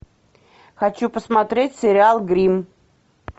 хочу посмотреть сериал гримм